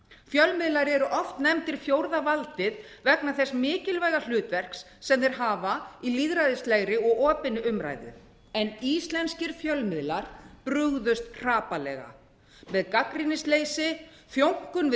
fjölmiðlar eru oft nefndir fjórða valdið vegna þess mikilvæga hlutverks sem þeir hafa í lýðræðislegri og opinni umræðu en íslenskir fjölmiðlar brugðust hrapallega með gagnrýnisleysi þjónkun við